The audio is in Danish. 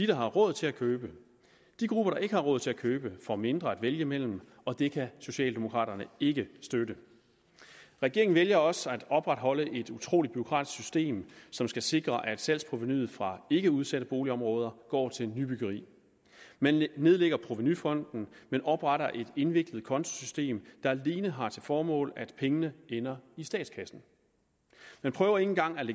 der har råd til at købe de grupper der ikke har råd til at købe får mindre at vælge imellem og det kan socialdemokraterne ikke støtte regeringen vælger også at opretholde et utrolig bureaukratisk system som skal sikre at salgsprovenuet fra ikkeudsatte boligområder går til nybyggeri man nedlægger provenufonden og man opretter et indviklet kontosystem der alene har til formål at pengene ender i statskassen man prøver ikke engang at